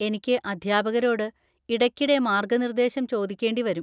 എനിക്ക് അധ്യാപകരോട് ഇടയ്ക്കിടെ മാർഗനിർദേശം ചോദിക്കേണ്ടി വരും.